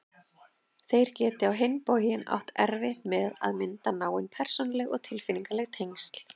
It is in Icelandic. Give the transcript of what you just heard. Þeir geti á hinn bóginn átt erfitt með að mynda náin persónuleg og tilfinningaleg tengsl.